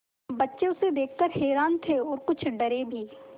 बच्चे उसे देख कर हैरान थे और कुछ डरे भी